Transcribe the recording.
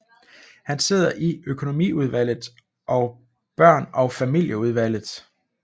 Han sidder i økonomiudvalget og børn og familieudvalget